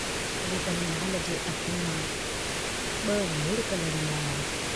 रतनलाल जे अखियुनि मां ब लुढ़क लढ़ी आया।